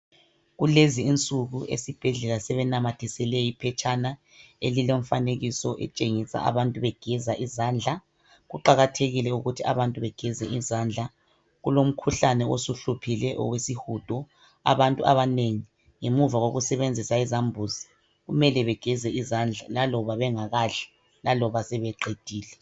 Kulezi insuku esibhedlela sebenamathisele iphetshana elilomfanekiso etshengisa abantu begeza izandla kuqakathekile ukuthi abantu bageze izandla, kulomkhuhlane osuhluphile owesihudo, abantu abanengi ngemuva kokusebenzisa izambuzi kumele begeze izandla laloba bengakadli laloba sebeqedile.